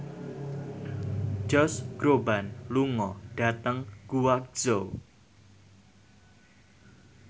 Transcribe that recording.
Josh Groban lunga dhateng Guangzhou